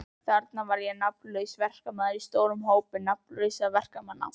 Þarna var ég nafnlaus verkamaður í stórum hópi nafnlausra verkamanna.